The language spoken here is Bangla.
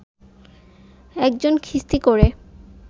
একজন খিস্তি করে